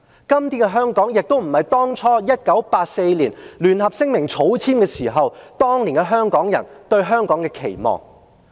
今天的香港亦不是當初1984年草簽《中英聯合聲明》時，當年香港人對香港有期望的香港。